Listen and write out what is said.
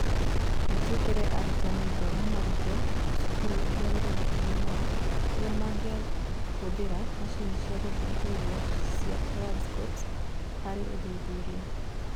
Nĩ twekĩrire arutani ngoro marute cukuru iria irĩ hakuhĩ nao ũrĩa mangĩahũthĩra macini cia gũthuthuria cia foldscopes harĩ ũthuthuria